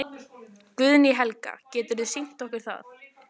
Guðný Helga: Geturðu sýnt okkur það?